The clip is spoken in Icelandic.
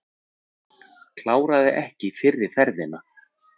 Kláraði ekki fyrri ferðina